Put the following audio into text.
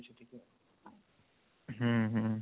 ହୁଁ ହୁଁ